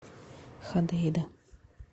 ходейда